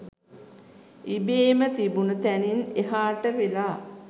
ඉබේම තිබුන තැනින් එහාට වෙලා